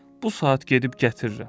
Bu saat gedib gətirirəm.